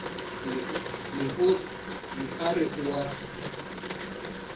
ne a re o a